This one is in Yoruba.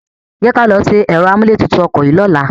Jẹ́ kí a lọ ṣe ẹ̀rọ amúlétutù ọkọ̀ yìí lọ́la.